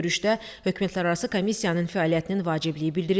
Görüşdə hökumətlərarası komissiyanın fəaliyyətinin vacibliyi bildirildi.